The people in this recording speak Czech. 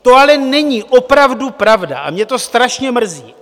To ale není opravdu pravda a mě to strašně mrzí.